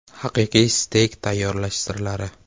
Haqiqiy steyk tayyorlash sirlari.